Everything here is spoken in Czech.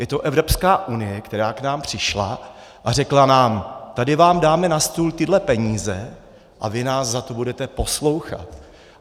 Je to Evropská unie, která k nám přišla a řekla nám: tady vám dáme na stůl tyhle peníze a vy nás za to budete poslouchat.